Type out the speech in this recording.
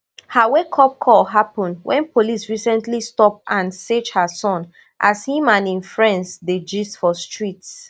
her wakeup call happun wen police recently stop and search her son as im and im friends dey gist for street